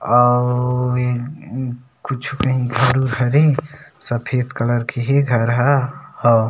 आऊ इन इन कुछू कही घर उर हरे सफ़ेद कलर के हे घर ह--